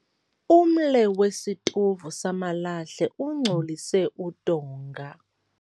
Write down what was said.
Umle wesitovu samalahle ungcolise udonga.